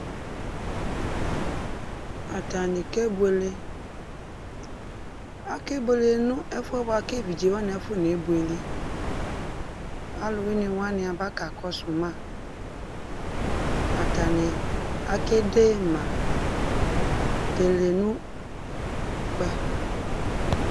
Atani kebuele, akebuele nʋ ɛfuɛ bua kʋ evidze wani akɔnebuele Alʋwani wani aba kakɔsʋ ma, atani akedema telenʋkpɛ